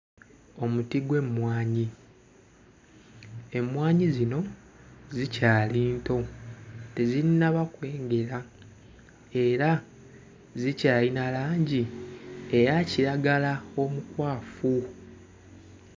Omuti gw'emmwanyi emmwanyi zino zikyali nto tezinnaba kwengera era zikyayina langi eya kiragala omukwafu.